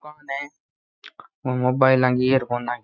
ओ मोबाइल की ईयरफोन की।